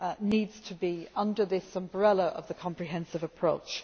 needs to be under this umbrella of the comprehensive approach